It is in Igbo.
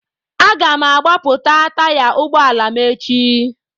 Aga m agbapụta taya ụgbọ ala m echi.